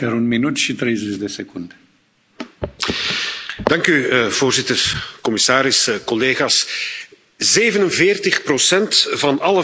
Voorzitter, commissaris, collega's, 47 van alle verkeersdoden in de Europese Unie zijn zwakke weggebruikers.